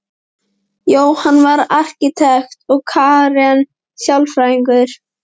Jóhann var arkitekt og Karen sálfræðingur.